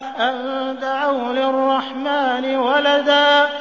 أَن دَعَوْا لِلرَّحْمَٰنِ وَلَدًا